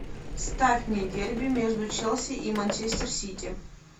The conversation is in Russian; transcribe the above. ставь мне дерби между челси и манчестер сити